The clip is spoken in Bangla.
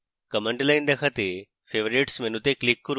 command line দেখাতে favorites মেনুতে click করুন